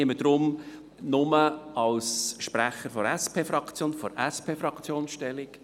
Ich nehme deshalb lediglich als Sprecher der SP-Fraktion Stellung.